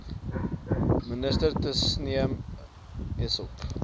minister tasneem essop